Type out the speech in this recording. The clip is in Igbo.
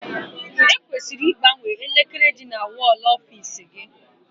E kwesịrị igbanwe elekere dị na wọl ọfiisi gị.